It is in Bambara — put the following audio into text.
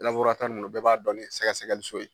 ninnu ni bɛɛ b'a dɔn ni sɛgɛsɛgɛliso ye.